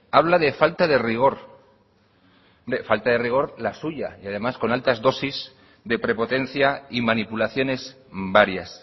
habla de falta de rigor hombre falta de rigor la suya y además con altas dosis de prepotencia y manipulaciones varias